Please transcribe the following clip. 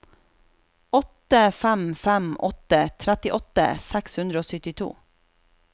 åtte fem fem åtte trettiåtte seks hundre og syttito